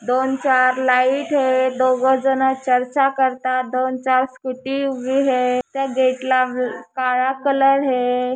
दोन चार लाईट हे दोघं जन चर्चा करतात दोन चार स्कुटी उभी हे त्या गेट ला काळा कलर हे.